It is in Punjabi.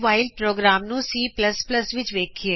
ਵਾਈਲ ਪ੍ਰੋਗਰਾਮ ਨੂੰ c ਵਿੱਚ ਵੇਖਿਏ